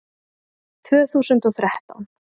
Tvö þúsund og þrettán